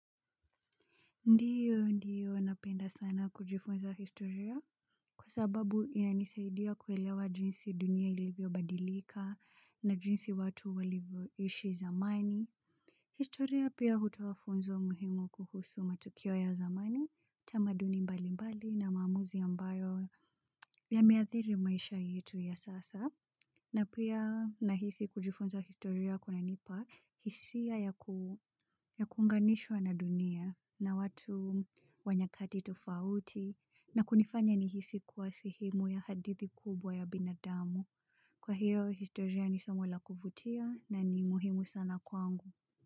Ndiyo, ndiyo, napenda sana kujifunza historia kwa sababu inanisaidia kuelewa jinsi dunia ilivyobadilika na jinsi watu walivyoishi zamani. Historia pia hutoa funzo muhimu kuhusu matukio ya zamani, tamaduni mbalimbali na maamuzi ambayo yameathiri maisha yetu ya sasa. Na pia nahisi kujifunza historia kunanipa hisia ya kuunganishwa na dunia na watu wa nyakati tofauti na kunifanya nihisi kuwa sehemu ya hadithi kubwa ya binadamu. Kwa hiyo historia ni somo la kuvutia na ni muhimu sana kwangu.